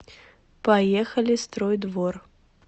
поехали строй двор